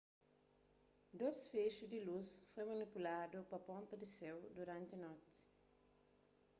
dôs fexu di lus foi manipuladu pa ponta pa séu duranti noti